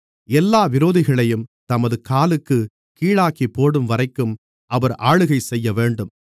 எல்லா விரோதிகளையும் தமது காலுக்குக் கீழாக்கிப்போடும்வரைக்கும் அவர் ஆளுகைசெய்யவேண்டும்